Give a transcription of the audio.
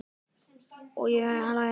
Og ég á hæla þeirra.